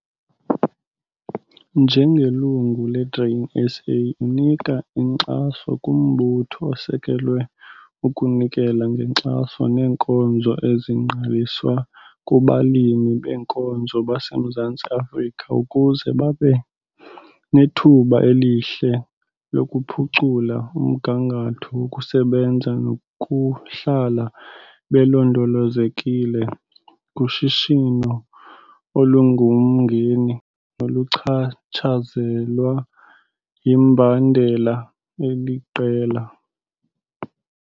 NJENGELUNGU LE-GRAIN SA UNIKA INKXASO KUMBUTHO OSEKWELWE UKUNIKELA NGENKXASO NEENKONZO EZINGQALISWA KUBALIMI BEENKOZO BASEMZANTSI AFRIKA UKUZE BABE NETHUBA ELIHLE LOKUPHUCULA UMGANGATHO WOKUSEBENZA NOKUHLALA BELONDOLOZEKILE KUSHISHINO OLUNGUMNGENI NOLUCHATSHAZELWA YIMBANDELA ELIQELA.